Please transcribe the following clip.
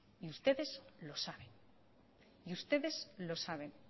y ustedes lo saben y ustedes lo saben